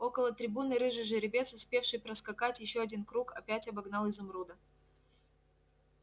около трибуны рыжий жеребец успевший проскакать ещё один круг опять обогнал изумруда